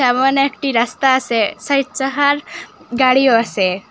ওহানে একটি রাস্তা আসে চাহির চাহার গাড়িও আসে।